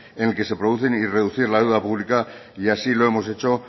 en el que se producen y reducir la deuda pública y así lo hemos hecho